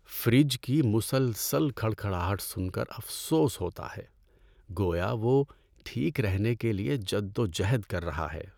Fridge کی مسلسل کھڑکھڑاہٹ سن کر افسوس ہوتا ہے، گویا وہ ٹھیک رہنے کے لیے جدوجہد کر رہا ہے۔